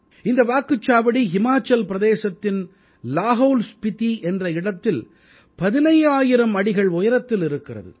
இந்த வாக்குச்சாவடி ஹிமாச்சல் பிரதேசத்தின் லாஹௌல் ஸ்பிதி என்ற இடத்தில் 15000 அடிகள் உயரத்தில் இருக்கிறது